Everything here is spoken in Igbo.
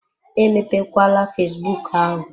Emepe kwala fesbụụk ahụ!